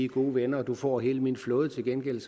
gode venner får du hele min flåde til gengæld